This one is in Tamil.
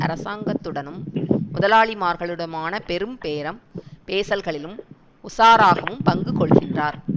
அரசாங்கத்துடனும் முதலாளிமார்களுடனுமான பெரும் பேரம் பேசல்களிலும் உசாராகவும் பங்கு கொள்கின்றார்